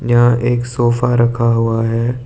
यहां एक सोफा रखा हुआ है।